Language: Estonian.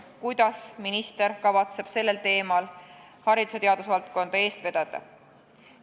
Kuidas minister kavatseb seda silmas pidades haridus- ja teadusvaldkonda eest vedada?